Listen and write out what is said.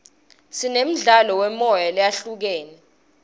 sinemidlalo yemoya lehlukahlukene